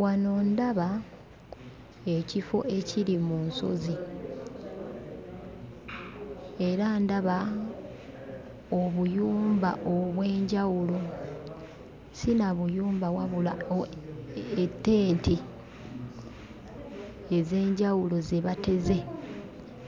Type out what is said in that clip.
Wano ndaba ekifo ekiri mu nsozi era ndaba obuyumba obw'enjawulo. Si na buyumba wabula ettenti ez'enjawulo ze bateze